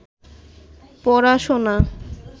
পড়াশোনা